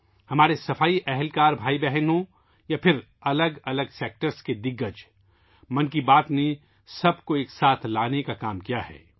ہمارے صفائی ورکر بھائی بہن ہوں یا الگ الگ شعبوں کی اہم شخصیات ،' من کی بات ' نے سب کو ساتھ لانے کا کام کیا ہے